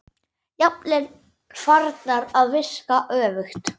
Jafnvel farnar að virka öfugt.